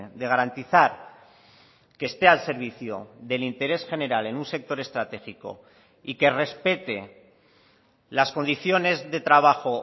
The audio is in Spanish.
de garantizar que esté al servicio del interés general en un sector estratégico y que respete las condiciones de trabajo